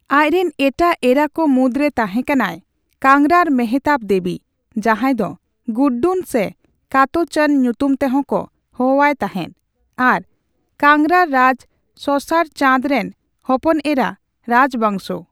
ᱟᱡᱨᱮᱱ ᱮᱴᱟᱜ ᱮᱨᱟ ᱠᱚ ᱢᱩᱫᱨᱮ ᱛᱟᱸᱦᱮ ᱠᱟᱱᱟᱭ ᱠᱟᱝᱨᱟᱨ ᱢᱮᱦᱚᱛᱟᱵ ᱫᱮᱵᱤ, ᱡᱟᱸᱦᱟᱭ ᱫᱚ ᱜᱩᱰᱰᱚᱱ ᱥᱮ ᱠᱟᱛᱳᱪᱚᱱ ᱧᱛᱩᱢ ᱛᱮᱦᱚᱸ ᱠᱚ ᱦᱚᱦᱚᱣᱟᱭ ᱛᱟᱸᱦᱮᱫ ᱟᱨ ᱠᱟᱝᱨᱟᱨ ᱨᱟᱡᱽ ᱥᱚᱥᱟᱨ ᱪᱟᱸᱫ ᱨᱮᱱ ᱦᱚᱯᱚᱱᱮᱨᱟ ᱨᱟᱡᱽ ᱵᱟᱸᱥᱳ ᱾